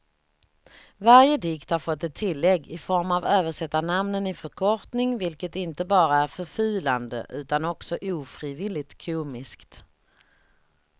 Varje dikt har fått ett tillägg i form av översättarnamnen i förkortning vilket inte bara är förfulande utan också ofrivilligt komiskt.